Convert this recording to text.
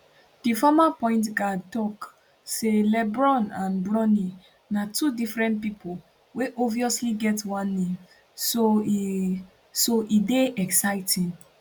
di former pointguard tok say lebron and bronny na two different pipo wey obviously get one name so e so e dey exciting